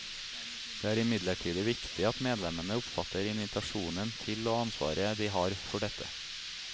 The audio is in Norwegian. Det er imidlertid viktig at medlemmene oppfatter invitasjonen til og ansvaret de har for dette.